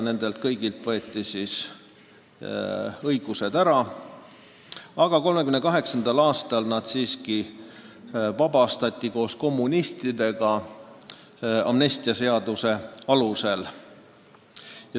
Nendelt kõigilt võeti kõik nende õigused, aga 1938. aastal nad siiski vabastati koos kommunistidega amnestiaseaduse alusel.